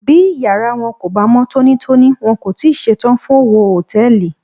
Bí ìyára wọn kò bá mọ́ tónítóní, wọn kò tíì ṣe tán fún òwò Hòtẹ́lìì.